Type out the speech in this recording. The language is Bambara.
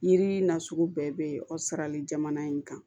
Yiri nasugu bɛɛ bɛ o sarali jamana in kan